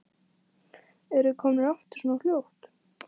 Eruð þið komnir aftur svona fljótt?